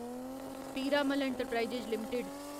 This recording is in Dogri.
Piramal enterprises limited